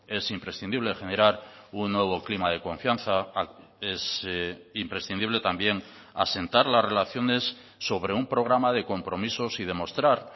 es imprescindible generar un nuevo clima de confianza es imprescindible también asentar las relaciones sobre un programa de compromisos y demostrar